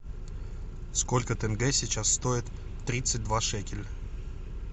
сколько тенге сейчас стоит тридцать два шекеля